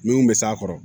Min bɛ s'a kɔrɔ